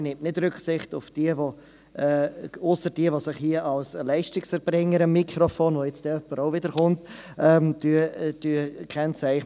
Man nimmt nicht Rücksicht auf sie, ausser wer sich am Mikrofon als Leistungserbringer – es kommt als Nächstes auch wieder so jemand – kennzeichnet.